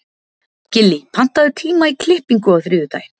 Gillý, pantaðu tíma í klippingu á þriðjudaginn.